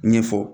Ɲɛfɔ